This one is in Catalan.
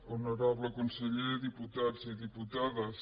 honorable conseller diputats i diputades